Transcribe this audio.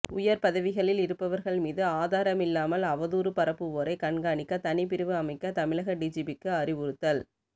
உயர் பதவிகளில் இருப்பவர்கள் மீது ஆதாரமில்லாமல் அவதூறு பரப்புவோரை கண்காணிக்க தனி பிரிவு அமைக்க தமிழக டிஜிபிக்கு அறிவுறுத்தல்